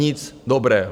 Nic dobrého!